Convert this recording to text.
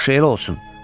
Yaxşı, elə olsun.